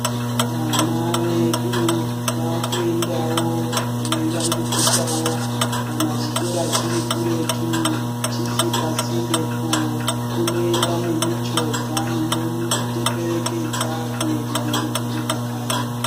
Vana vedu vaakuendawo veivandudzikawo. Kana chikora chiri kuretu chisi pasinde po unoenda nemichovha inovaperekedza kuenda ngekudzoka kanyi.